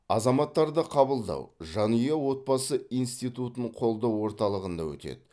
азаматтарды қабылдау жанұя отбасы институтын қолдау орталығында өтеді